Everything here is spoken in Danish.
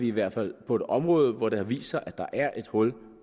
i hvert fald på et område hvor det har vist sig at der er et hul